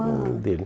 ãh o nome dele.